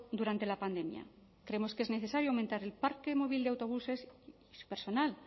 durante la pandemia creemos que es necesario aumentar el parque móvil de autobuses y el personal